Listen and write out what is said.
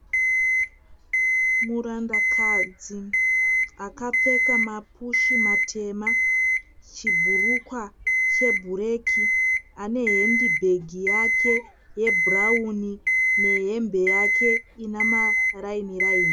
Murandakadzi akapfeka mapushi matema. Chibhurukwa chebhureki ane hendibhegi yake yebhurawuni nehembe yake ine maraini raini.